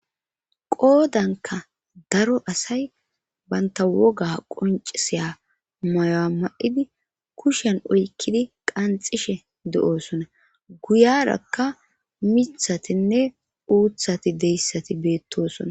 Qoodanka daro asay banta woga qoncisiya mayo'a ma'idi kushen oykkidi qanxishe de'oosona guyarakka mithatinne uuthati deyssati beettosona.